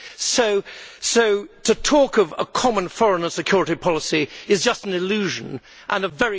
So to talk of a common foreign and security policy is just an illusion and a very costly one at that.